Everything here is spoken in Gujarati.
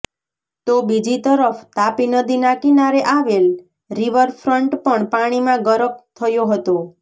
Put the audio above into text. તો બીજી તરફ તાપી નદીના કિનારે આવેલ રિવરફ્રન્ટ પણ પાણીમાં ગરક થયો હતો